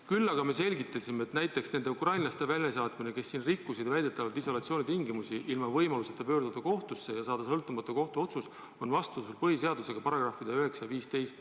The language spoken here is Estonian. "Küll aga me selgitasime, et näiteks nende ukrainlaste väljasaatmine, kes siin rikkusid väidetavalt isolatsioonitingimusi, ilma võimaluseta pöörduda kohtusse ja saada sõltumatu kohtuotsus on vastuolus põhiseaduse §-dega 9 ja 15.